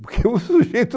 Porque o sujeito...